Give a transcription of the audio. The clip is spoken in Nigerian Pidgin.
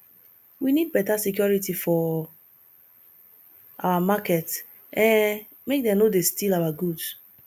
we need beta security for our market um make dem no dey steal our goods